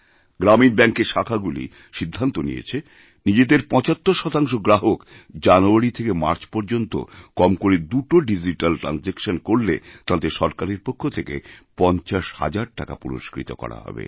গ্রামীণ ব্যাঙ্কের শাখাগুলিসিদ্ধান্ত নিয়েছে নিজেদের ৭৫ শতাংশ গ্রাহক জানুয়ারি থেকে মার্চ পর্যন্ত কম করেদুটি ডিজিট্যাল ট্র্যানজাকশন করলে তাঁদের সরকারের পক্ষ থেকে ৫০০০০ টাকা পুরস্কৃতকরা হবে